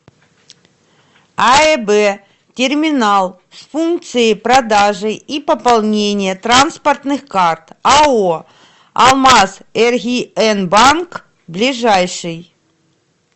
аэб терминал с функцией продажи и пополнения транспортных карт ао алмазэргиэнбанк ближайший